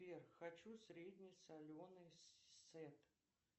сбер хочу средне соленый сет